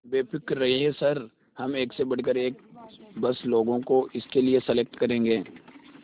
बेफिक्र रहिए सर हम एक से बढ़कर एक बस लोगों को इसके लिए सेलेक्ट करेंगे